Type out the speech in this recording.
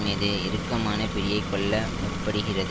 மீது இறுக்கமான பிடியைக் கொள்ள முற்படுகிறது